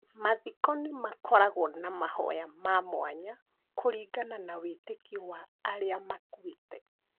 Mathiko nĩ makoragwo na mahoya ma mwanya kũringana na wĩtĩkio wa arĩa makuĩte.